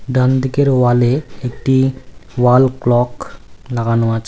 ডান দিকের ওয়ালে একটি ওয়াল ক্লক লাগানো আছে--।